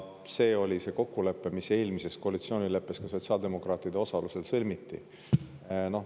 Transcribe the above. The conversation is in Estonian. See oli kokkulepe, mis eelmises koalitsioonileppes ka sotsiaaldemokraatide osalusel sõlmiti.